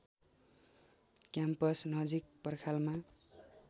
campus नजिक पर्खालमा